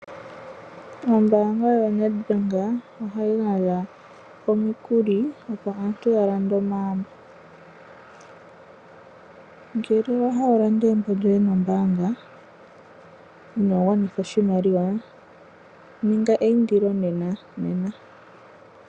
Ombaanga yo Nedbank ohayi gandja omikuli opo aantu ya lande omagumbo. Ngele owa hala wu lande egumbo lyoye nombaanga ino gwanitha oshimaliwa ninga eyindilo nena nena.